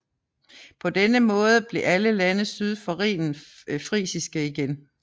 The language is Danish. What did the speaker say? På denne måde blev alle lande syd for Rhinen frisiske igen